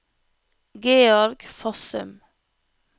Georg Fossum